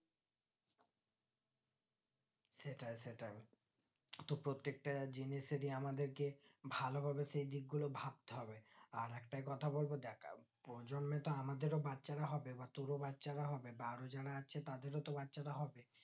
তো প্রত্যেকটা এক জিনিস যদি আমাদের কে ভালো ভাবে সেই জিনিস গুলো ভাবতে হবে আর একটা কথা বলবো দেখ আহ ওর জন্য তো আমাদের বাচ্চারা হবে তোরো বাচ্চারা হবে তো আরো জানা যাচ্ছে তাদের তো বাচ্চারা হবে